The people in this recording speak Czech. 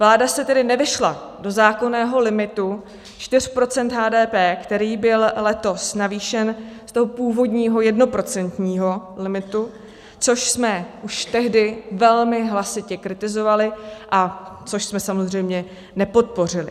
Vláda se tedy nevešla do zákonného limitu 4 % HDP, který byl letos navýšen z toho původního jednoprocentního limitu, což jsme už tehdy velmi hlasitě kritizovali a což jsme samozřejmě nepodpořili.